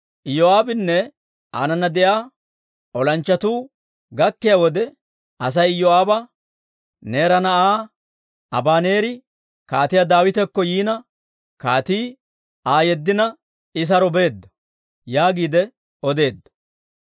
Iyoo'aabinne aanana de'iyaa olanchchatuu gakkiyaa wode, Asay Iyoo'aaba, «Neera na'aa Abaneeri kaatiyaa Daawitakko yiina, kaatii Aa yeddina, I saro beedda» yaagiide odeedda.